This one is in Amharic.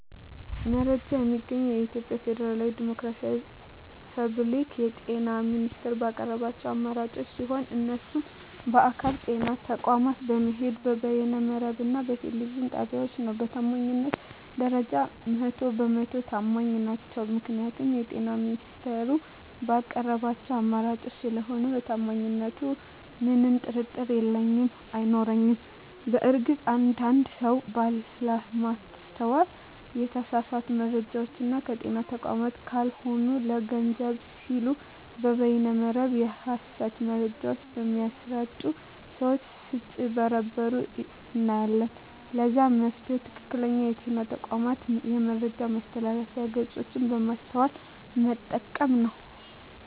መረጃ የማገኘዉ የኢትዮጵያ ፌደራላዊ ዲሞክራሲያዊ የፐብሊክ የጤና ሚኒስቴር ባቀረባቸዉ አማራጮች ሲሆን እነሱም በአካል (ጤና ተቋማት በመሄድ)፣ በበይነ መረብ እና በቴሌቪዥን ጣቢያወች ነዉ። በታማኝነት ደረጃ 100 በ 100 ተማኝ ናቸዉ ምክንያቱም የጤና ሚኒስቴሩ ባቀረባቸዉ አማራጮች ስለሆነ በታማኝነቱ ምንም ጥርጥር የለኝም አይኖረኝም። በእርግጥ አንድ አንድ ሰወች ባለማስተዋል የተሳሳቱ መረጃወችን ከጤና ተቋማት ካልሆኑ ለገንዘብ ሲሉ በበይነ መረብ የሀሰት መረጃወች በሚያሰራጪ ሰወች ስጭበረበሩ እናያለን ለዛም መፍትሄዉ ትክክለኛዉ የጤና ተቋሙን የመረጃ ማስተላለፊያ ድረገፆች በማስተዋል መጠቀም ነዉ።